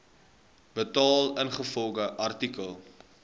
betaal ingevolge artikel